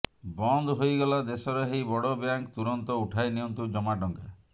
ବନ୍ଦ ହୋଇଗଲା ଦେଶର ଏହି ବଡ ବ୍ୟାଙ୍କ ତୁରନ୍ତ ଉଠାଇ ନିଅନ୍ତୁ ଜମା ଟଙ୍କା